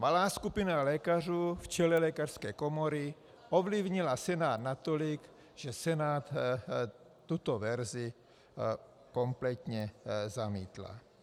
Malá skupina lékařů v čele lékařské komory ovlivnila Senát natolik, že Senát tuto verzi kompletně zamítl.